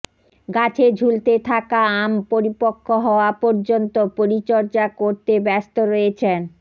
গাছে ঝুলতে থাকা আম পরিপক্ব হওয়া পর্যন্ত পরিচর্যা করতে ব্যস্ত রয়েছেন